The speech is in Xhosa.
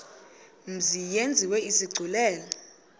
mzi yenziwe isigculelo